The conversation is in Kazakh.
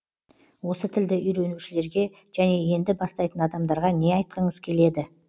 осы тілді үйренушілерге және енді бастайтын адамдарға не айтқыңыз келеді